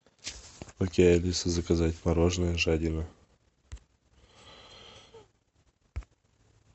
окей алиса заказать мороженое жадина